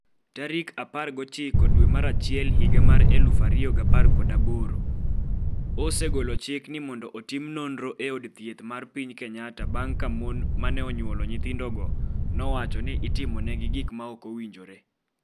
19 dwe mar achiel higa mar 2018, 2018: osegolo chik ni mondo otim nonro e od thieth mar piny Kenyatta bang’ ka mon ma ne onyuolo nyithindogo nowacho ni itimo negi gik ma ok owinjore.